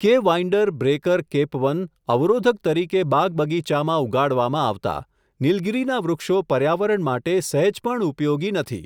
કે windbreaker કેપવન, અવરોધક તરીકે બાગ બગીચામાં ઉગાડવામાં આવતા, નિલગીરીના વૃક્ષો પર્યાવરણ માટે સહેજ પણ ઉપયોગી નથી.